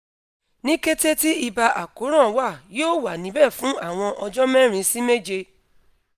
ni kete ti iba akoran wa yoo wa nibẹ fun awọn ọjọ merin si meje